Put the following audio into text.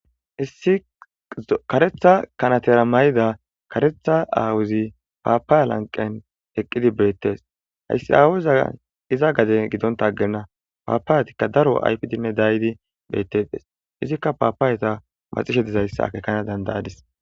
issi karetha kanatera ma7ida karetha aawuzi paapaa lanqen eqqidi beettes hayssi aawuza iza gade gidonta aggenna paapaayetikka daro ayfidinne daydi beettedes izikka paapaaweta maxishe dizayssake kana dandayadis